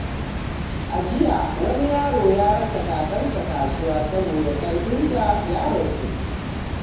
A jiya, wani yaro ya raka kakarsa kasuwa saboda ƙarfinta ya ragu.